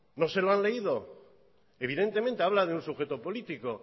no se lo han leído evidentemente habla de un sujeto político